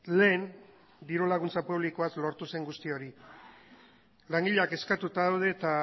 lehen dirulaguntza publikoaz lortu zen guzti hori langileak kezkatuta daude eta